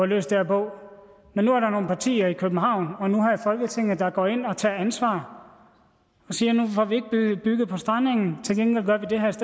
løse det her på men nu er der nogle partier i københavn og nu her i folketinget der går ind og tager ansvar og siger nu får vi ikke bygget på strandengen til gengæld gør vi det her